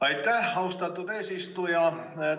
Aitäh, austatud eesistuja!